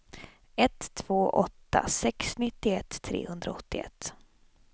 ett två åtta sex nittioett trehundraåttioett